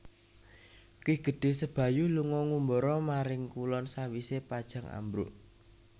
Ki Gedhé Sebayu lunga ngumbara maring kulon sawisé Pajang ambruk